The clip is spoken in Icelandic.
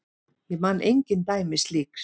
Ég man engin dæmi slíks.